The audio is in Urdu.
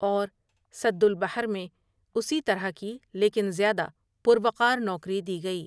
اور سد البحر میں اسی طرح کی لیکن زیادہ پروقار نوکری دی گئی ۔